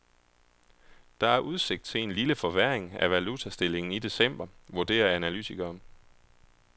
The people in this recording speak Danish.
Der er udsigt til en lille forværring af valutastillingen i december, vurderer analytikere.